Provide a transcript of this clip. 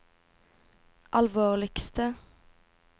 alvorligste